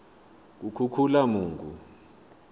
kukhukhulamungu